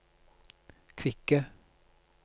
kvikke